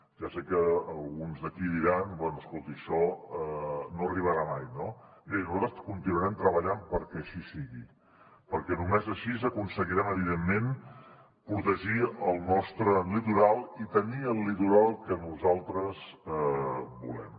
ja sé que alguns d’aquí diran bé escolti això no arribarà mai no bé nosaltres continuarem treballant perquè així sigui perquè només així aconseguirem evidentment protegir el nostre litoral i tenir el litoral que nosaltres volem